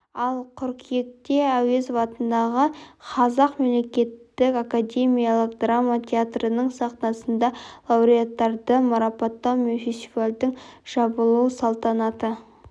ал қыркүйекте әуезов атындағы қазақ мемлекеттік академиялық драма театрының сахнасында лауреаттарды марапаттау мен фестивальдің жабылу салтанаты